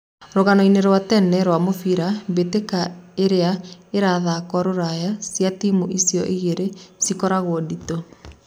Rũganoĩnĩ rwa tene rwa mũbira, Mbĩtĩka iria irathako ruraya cia timũ icio ĩgĩrĩ cikoragwo ndĩtũ.